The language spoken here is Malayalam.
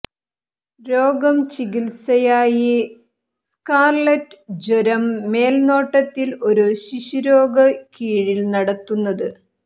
രോഗം ചികിത്സയായി സ്കാർലറ്റ് ജ്വരം മേൽനോട്ടത്തിൽ ഒരു ശിശുരോഗ കീഴിൽ നടത്തുന്നത്